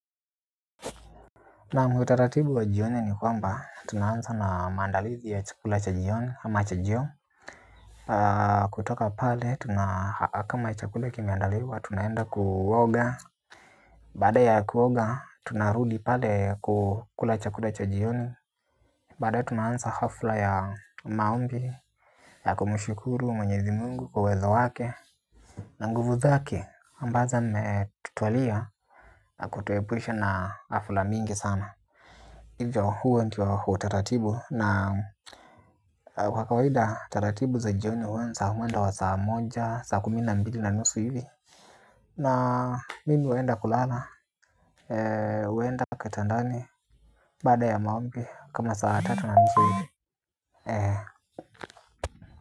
Naam utaratibu wa jioni ni kwamba tunaanza na maandalizi ya chakula cha jioni ama chajio, kutoka pale kama chakula kimeandaliwa tunaenda kuoga. Baada ya kuoga, tunarudi pale kukula chakula cha jioni. Baadaye tunaanza hafla ya maombi ya kumshukuru mwenyezi mungu kwa uwezo wake na nguvu zake, ambazo ametutualia na kutuepusha na hafla mingi sana. Hivyo huo ndio utaratibu na kwa kawaida taratibu za jioni huanza mwendo wa saa moja, saa kumi na mbili na nusu hivi. Na mimi huenda kulala, huenda kitandani baada ya maombi kama saa tatu na nusu hivi.